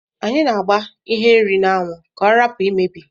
Anyi a agba ihe nri na anwu ka ọrapu imebi..